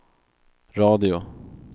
radio